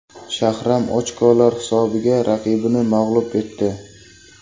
Shahram ochkolar hisobiga raqibini mag‘lub etdi.